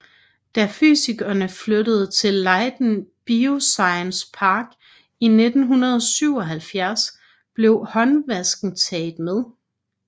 Da fysikerne flyttede til Leiden Bioscience park i 1977 blev håndvasken taget med